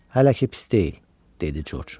Hələ ki pis deyil, dedi Corc.